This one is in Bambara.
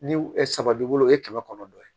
Ni saba b'i bolo e ye kɛmɛ kɔnɔntɔn ye